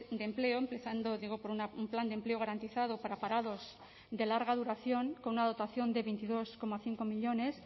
de empleo empezando digo por un plan de empleo garantizado para parados de larga duración con una dotación de veintidós coma cinco millónes